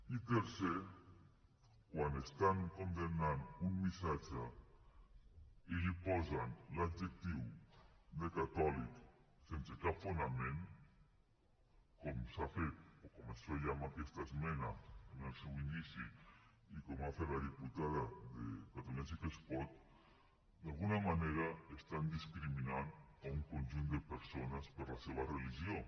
i tercer quan estan condemnant un missatge i hi posen l’adjectiu de catòlic sense cap fonament com s’ha fet o com es feia en aquesta esmena en el seu inici i com ha fet la diputada de catalunya sí que es pot d’alguna manera estan discriminant un conjunt de persones per la seva religió